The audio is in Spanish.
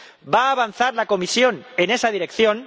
¿Va a avanzar la Comisión en esa dirección?